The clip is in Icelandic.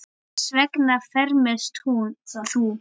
Hvers vegna fermist þú?